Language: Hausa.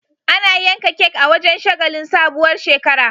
Ana yanka kek a wajan shagalin sabuwar shekara